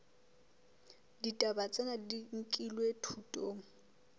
ditaba tsena di nkilwe thutong